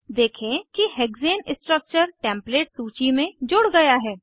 देखें कि hexane structure template सूची में जुड़ गया है